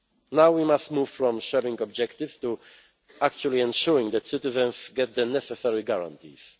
Now we must move from sharing objectives to actually ensuring that citizens get the necessary guarantees.